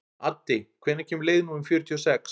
Addi, hvenær kemur leið númer fjörutíu og sex?